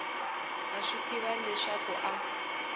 a swi tiva leswaku a